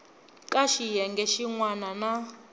ka xiyenge xin wana na